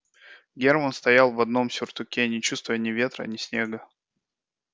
герман стоял в одном сюртуке не чувствуя ни ветра ни снега